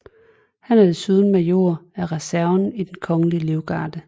Han er desuden major af reserven i Den Kongelige Livgarde